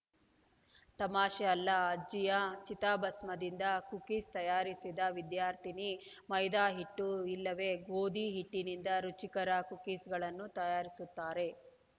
ತಮಾಷೆ ಅಲ್ಲ ಅಜ್ಜಿಯ ಚಿತಾಭಸ್ಮದಿಂದ ಕುಕೀಸ್‌ ತಯಾರಿಸಿದ ವಿದ್ಯಾರ್ಥಿನಿ ಮೈದಾ ಹಿಟ್ಟು ಇಲ್ಲವೇ ಗೋಧಿ ಹಿಟ್ಟಿನಿಂದ ರುಚಿಕರ ಕುಕೀಸ್‌ಗಳನ್ನು ತಯಾರಿಸುತ್ತಾರೆ